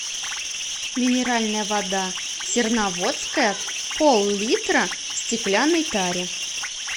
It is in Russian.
минеральная вода серноводская пол литра в стеклянной таре